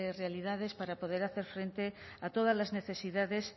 realidades para poder hacer frente a todas las necesidades